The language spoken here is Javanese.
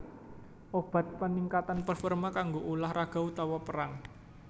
Obat peningkatan performa kanggo ulah raga utawa perang